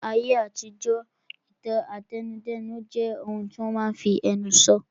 Ní ayé àtijọ́, ìtàn àtẹnudẹ́nu jẹ́ ohun tí wọ́n máa n fi ẹnu sọ